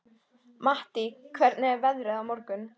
Mattý, hvernig er veðrið á morgun?